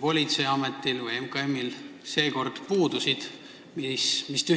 politseiametil või MKM-il seekord konkreetse ID-kaardi kaasuse puhul puudusid?